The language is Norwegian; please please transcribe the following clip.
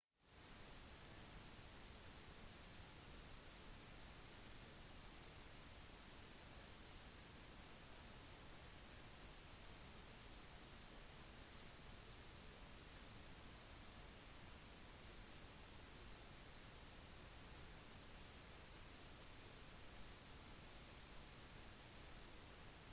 enhver som har lyst til å se bevis på ødeleggelsene som skjedde på mumien under forsøk på å fjerne den fra kisten vil bli skuffet da det er bare hodet og skuldrene som er igjen